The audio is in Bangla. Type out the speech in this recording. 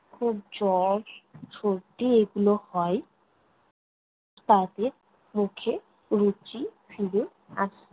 খুব জ্বর সর্দি এগুলো হয়, তাদের মুখে রুচি ফিরে আসে।